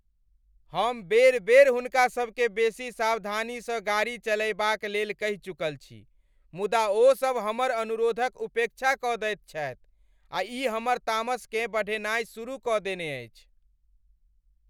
हम बेर बेर हुनका सबकेँ बेसी सावधानीसँ गाड़ी चलयबाक लेल कहि चुकल छी मुदा ओसब हमर अनुरोधक उपेक्षा कऽ दैत छथि, आ ई हमर तामसकेँ बढ़ेनाइ शुरु कऽ देने अछि।